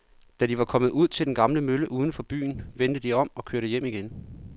Da de var kommet ud til den gamle mølle uden for byen, vendte de om og kørte hjem igen.